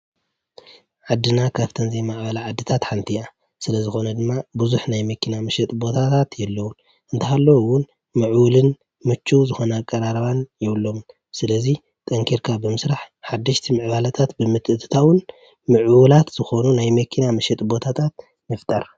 ዓድና ካብተን ዘይማዕበላ ሃገራት ሓንቲ እያ፡፡ ስለዝኾነ ድማ ብዙሕ ናይ መኪና መሸጢ ቦታታት የለዉን፡፡ እንተሃለዉ እውን ምዕቡልን ምችው ዝኾነ ኣቀራርባ የብሎምን፡፡ ስለዚ ጠንኪርካ ብምስራሕ ሓደሽቲ ምዕባለታት ብምትእትታውን ምዕቡላት ዝኾኑ ናይ መኪና ምሽጢ ቦታታት ምፍጠር፡፡